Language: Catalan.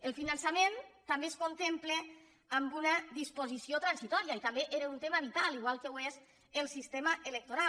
el finançament també es contempla en una disposició transitòria i també era un tema vital igual que ho és el sistema electoral